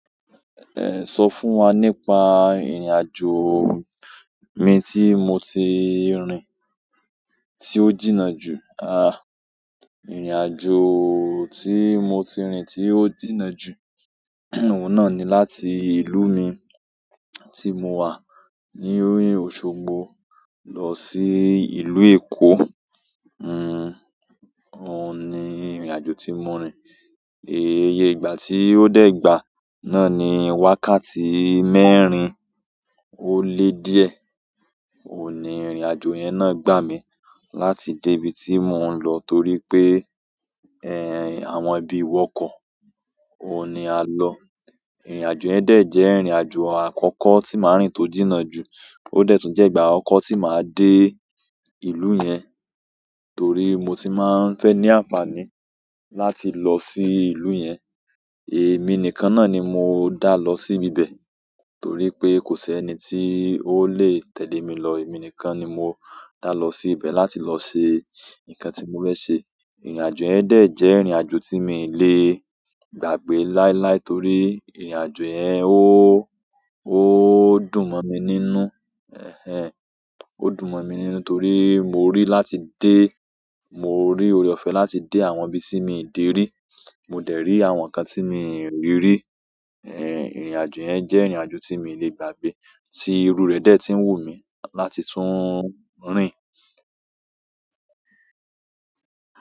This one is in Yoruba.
Sọ fún wa nípa ìrìnàjò mi tí mo ti rìn tí ó jìnnà ju. Ìrìnàjò tí mo ti rín tí ó jìnnà ju, òun náà ni láti ìlú mi tí mo wà ní o--Òṣogbo lọ sí ìlú Èkó. Òun ni ìrìnàjò tí mo rín. Iye ìgbà ti o de gba náà ni wákàtí mẹ́rin o le díẹ̀. Òun ni ìrìnàjò yẹn náà gbà mí láti dé ibi tí mò ń lọ torí pé, àwọn ibi iwọ́kọ̀. Òun ni á lọ. Ìrìnàjò yẹn dẹ̀ jẹ́ ìrìnàjò àkọ́kọ́ tí màá rìn tó jìnnà ju. Ó dẹ̀ tún jẹ́ ìgbà àkọ́kọ́ tí màá dé ìlú yẹn torí mo ti máa ń fẹ́ ní àǹfààní láti lọ sí ìlú yẹn. Èmi nìkan náà ni mo dá lọ sí bibẹ̀ torí pé kò sí ẹni tí ó lè tẹ̀lé mi lọ. Èmi nìkan ni mo dá lọ sí ibẹ̀ láti lọ ṣe nǹkan tí mo fẹ́ ṣe. Ìrìnàjò yẹn dẹ̀ jẹ́ ìrìnàjò tí mi le gbàgbé láíláí torí ìrìnàjò yẹn ó, ó dùn mọ́ mi nínú. Ẹ̀hẹn, ó dùn mọ́ mi nínú torí mo rí láti dé, mo rí oore-ọ̀fẹ́ láti dé àwọn ibi tí mi n dè rí. Mo dẹ̀ rí àwọn nǹkan tí mi n rí rí. Ìrìnàjò yẹn jẹ́ ìrìnàjò tí mi n le gbàgbé tí irú rẹ̀ dẹ̀ ti ń wù mí láti tún rìn.